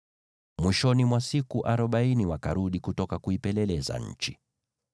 Mwishoni mwa siku arobaini wakarudi kutoka kuipeleleza nchi.